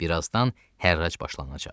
Bir azdan hərrac başlanacaq.